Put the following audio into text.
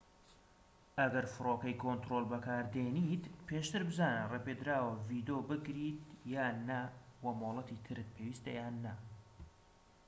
ئەگەر فرۆکەی کۆنترۆڵ بەکاردێنیت پێشتر بزانە ڕێپێدراوە ڤیدۆ بگریت یان نا وە مۆڵەتی ترت پێویستە یان نا